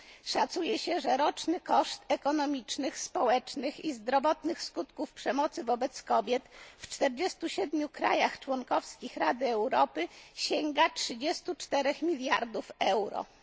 Szacuje się, że roczny koszt ekonomicznych, społecznych i zdrowotnych skutków przemocy wobec kobiet w 47 krajach członkowskich Rady Europy sięga 34 mld euro.